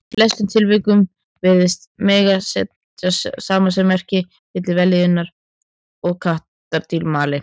Í flestum tilvikum virðist mega setja samasemmerki milli vellíðunar og þess að kattardýr mali.